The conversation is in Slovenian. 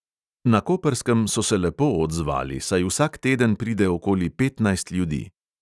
Na koprskem so se lepo odzvali, saj vsak teden pride okoli petnajst ljudi.